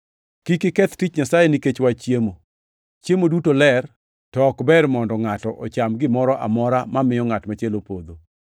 Kik iketh tich Nyasaye nikech wach chiemo. Chiemo duto ler, to ok ber mondo ngʼato ocham gimoro amora mamiyo ngʼat machielo podho.